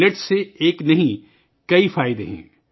millet کے ایک نہیں بلکہ بہت سے فوائد ہیں